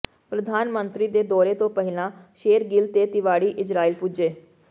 ਪ੍ਰਧਾਨ ਮੰਤਰੀ ਦੇ ਦੌਰੇ ਤੋਂ ਪਹਿਲਾਂ ਸ਼ੇਰਗਿੱਲ ਤੇ ਤਿਵਾੜੀ ਇਜ਼ਰਾਈਲ ਪੁੱਜੇ